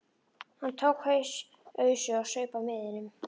Hann tók ausu og saup af miðinum.